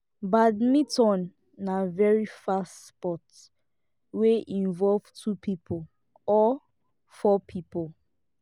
badminton na very fast sport wey involve two pipo or four pipo